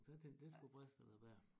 så jeg tænkte det skulle briste eller bære